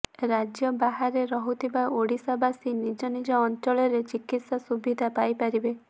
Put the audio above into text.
ରାଜ୍ୟ ବାହାରେ ରହୁଥିବା ଓଡ଼ିଶାବାସୀ ନିଜ ନିଜ ଅଞ୍ଚଳରେ ଚିକିତ୍ସା ସୁବିଧା ପାଇପାରିବେ